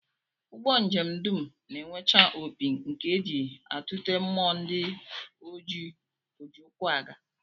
Ụgbọ njem dum na-enwecha opi nke e ji atụte mmụọ ndị oji ụkwụ aga